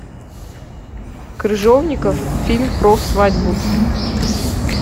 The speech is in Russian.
крыжовников фильм про свадьбу